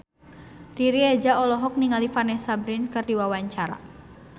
Riri Reza olohok ningali Vanessa Branch keur diwawancara